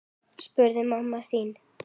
Gott kynlíf.